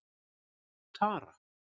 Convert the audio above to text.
Tara